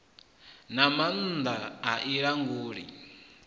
na maanda a i languli